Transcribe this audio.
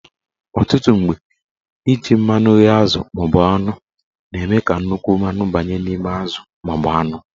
Ọtụtụ mgbe, iji mmanụ ghee azụ maọbụ anụ na-eme ka nnukwu mmanụ banye n'ime azụ maọbụ anụ